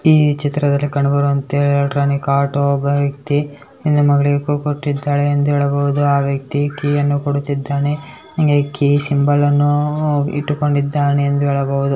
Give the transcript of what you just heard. ಈ ಚಿತ್ರದಲ್ಲಿ ಕಂಡುಬರುವಂತೆ ಇಲೆಕ್ಟ್ರಾನಿಕ್ ಆಟೋ ಒಬ್ಬ ವ್ಯಕ್ತಿ ಹೆಣ್ಣು ಮಗಳಿಗೆ ಕೋ ಕೊಟ್ಟಿದ್ದಾಳೆ ಎಂದು ಹೇಳಬಹುದು ಆ ವ್ಯಕ್ತಿ ಕೀ ಅನ್ನು ಕೊಡುತ್ತಿದ್ದಾನೆ ಹಂಗೆ ಕೀ ಸಿಂಬಲ್ ಅನ್ನು ಉಹ್ ಇಟ್ಟುಕೊಂಡಿದ್ದಾನೆ ಎಂದು ಹೇಳಬಹುದು